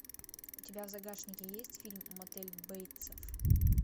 у тебя в загашнике есть фильм мотель бейтса